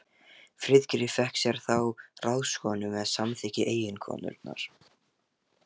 Friðgeir fékk sér þá ráðskonu með samþykki eiginkonunnar.